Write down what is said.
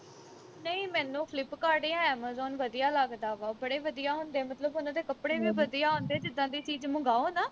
ਨਹੀਂ ਮੈਨੂੰ flipkart ਜਾਂ amazon ਵਧੀਆਂ ਲੱਗਦਾ ਵਾ ਬੜੇ ਵਧੀਆ ਹੁੰਦੇ ਮਤਲਬ ਉਨ੍ਹਾਂ ਦੇ ਕੱਪੜੇ ਵੀ ਵਧੀਆ ਹੁੰਦੇ ਜਿੱਦਾ ਦੀ ਚੀਜ ਮੰਗਾਓ ਨਾ